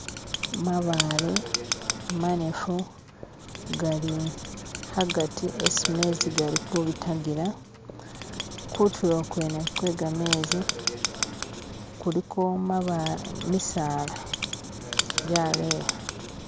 mabaale manefu gali agati esi mezi gali kubitagila kutulo kwene kwegamezi kuliko misaala gyaleya